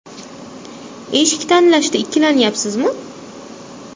Eshik tanlashda ikkilanyapsizmi?